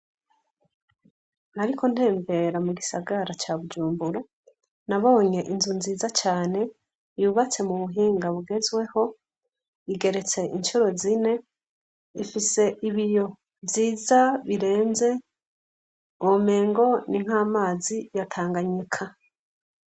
Nariko ntembera mu gisagara ca Bujumbura, nabonye inzu nziza cane yubatse mu buhinga bugezweho, igeretse incuro zine, ifise ibiyo vyiza birenze, womengo ni nk'amazi ya Tanganyika.